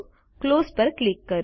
close પર click કરો